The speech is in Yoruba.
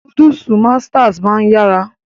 Núdúùsù masters máa ń yára